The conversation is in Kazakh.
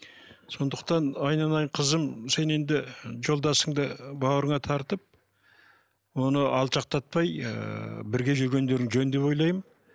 сондықтан айналайын қызым сен енді жолдасыңды бауырыңа тартып оны алшақтатпай ыыы бірге жүргендерің жөн деп ойлаймын